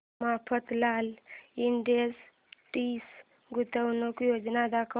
Mafatlal industries गुंतवणूक योजना दाखव